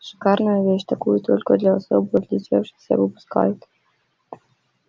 шикарная вещь такую только для особо отличившихся выпускают